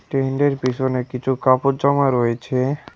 টেন্ডের পিছনে কিছু কাপড়জামা রয়েছে।